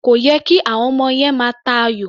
Kò yẹ kí àwọm ọmọ yẹn máa ta ayò.